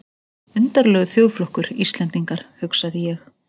Undarlegur þjóðflokkur, Íslendingar, hugsaði ég.